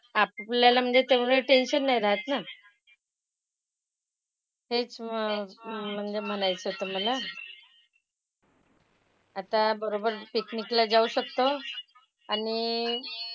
आपल्याला म्हणजे तेवढं tension नाही राहात ना. हेच मग म्हणजे म्हणायचं होतं मला. आता बरोबर picnic ला जाऊ शकतो. आणि,